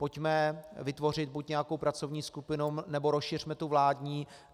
Pojďme vytvořit buď nějakou pracovní skupinu, nebo rozšiřme tu vládní.